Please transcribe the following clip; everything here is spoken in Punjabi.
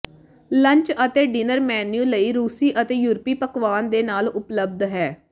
ਲੰਚ ਅਤੇ ਡਿਨਰ ਮੇਨੂ ਲਈ ਰੂਸੀ ਅਤੇ ਯੂਰਪੀ ਪਕਵਾਨ ਦੇ ਨਾਲ ਉਪਲਬਧ ਹੈ